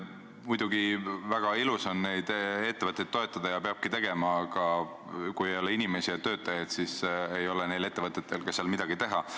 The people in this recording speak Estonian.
Muidugi väga ilus on neid ettevõtteid toetada ja seda peabki tegema, aga kui ei ole inimesi ja töötajaid, siis ei ole neil ettevõtetel seal midagi teha.